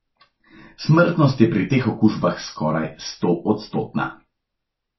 Smrtnost je pri teh okužbah skoraj stoodstotna.